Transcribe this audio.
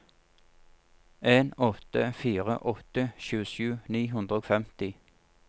en åtte fire åtte tjuesju ni hundre og femti